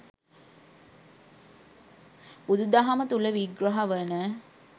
බුදු දහම තුළ විග්‍රහ වන